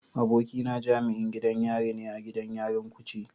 Abokina jami'in gidan yari ne a gidan yarin kuje.